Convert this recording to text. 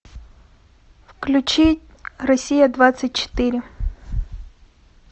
включи россия двадцать четыре